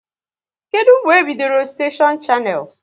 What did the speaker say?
Kedụ mgbe e bidoro steshion Shannel?